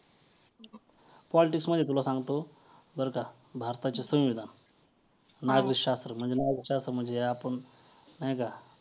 politics मध्ये तुला सांगतो बरं का भारताचे संविधान नागरिकशास्त्र म्हणजे नागरिकशास्त्र हे आपण नाही का